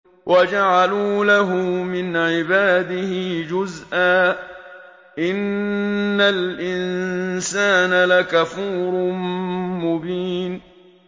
وَجَعَلُوا لَهُ مِنْ عِبَادِهِ جُزْءًا ۚ إِنَّ الْإِنسَانَ لَكَفُورٌ مُّبِينٌ